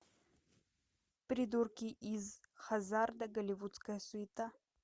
придурки из хазарда голливудская суета